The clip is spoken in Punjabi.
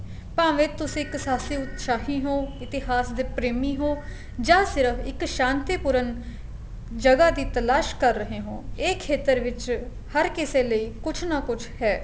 ਭਾਵੇ ਤੁਸੀਂ ਇੱਕ ਸਾਹਸੀ ਉਤਸਾਹੀ ਹੋ ਇਤੀਹਾਸ ਦੇ ਪ੍ਰੇਮੀ ਹੋ ਜਾਂ ਸਿਰਫ਼ ਇੱਕ ਸ਼ਾਂਤੀ ਪੂਰਨ ਜਗ੍ਹਾ ਦੀ ਤਲਾਸ਼ ਕਰ ਰਹੇ ਹੋ ਇਹ ਖੇਤਰ ਵਿੱਚ ਹਰ ਕਿਸੇ ਲਈ ਕੁੱਝ ਨਾ ਕੁੱਝ ਹੈ